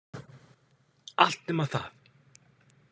Allt nema það.